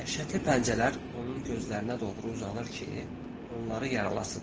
Dəhşətli pəncələr onun gözlərinə doğru uzanır ki, onları yaralasın.